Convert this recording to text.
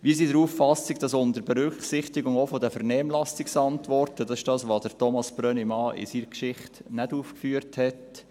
Wir sind der Auffassung, dass auch unter Berücksichtigung der Vernehmlassungsantworten … Das ist das, was Thomas Brönnimann in seiner Geschichte nicht aufgeführt hat: